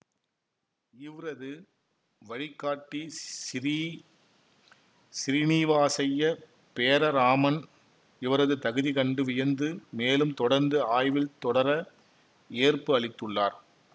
இவ்ரது வழிகாட்டி சிறீ சிறீனிவாசய்யா பேர இராமன் இவரது தகுதி கண்டு வியந்து மேலும் தொடர்ந்து ஆய்வில் தொடர ஏற்பு அளித்துள்ளார்